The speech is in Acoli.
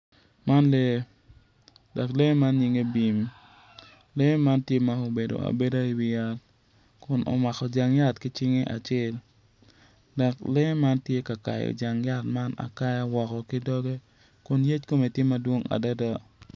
Man lee dok lee man nyinge bim lee man tye ma obedo abeda i wi yat kun omako jang yat ki cinge acel dok lee matye ka kayo jang yat man akaya ki dogge kun yec kome tye madwong adada